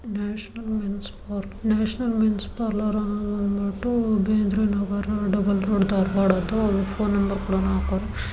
National men's parlour ಅನ್ನೋದು ಬೇಂದ್ರೆ ಅವರ double road ಧಾರವಾಡದ್ದು ಫೋನ್ ನಂಬರ್ ಕೂಡ ನಾವು ನೋಡಬಹುದು.